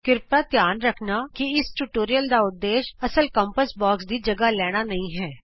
ਕ੍ਰਿਪਾ ਕਰਕੇ ਧਿਆਨ ਰੱਖਣਾ ਕਿ ਇਸ ਟਿਯੂਟੋਰਿਅਲ ਦਾ ਉਦੇਸ਼ ਅਸਲ ਕੰਪਾਸ ਬੋਕਸ ਦੀ ਥਾਂ ਲੈਣਾ ਨਹੀਂ ਹੈ